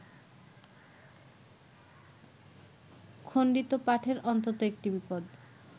খণ্ডিত পাঠের অন্তত একটি বিপদ